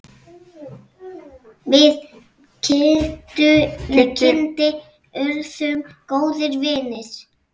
Við Kiddi urðum góðir vinir.